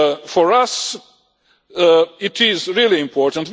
For us, it is really important.